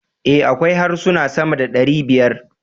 A, akwai harsuna sama da ɗari biyar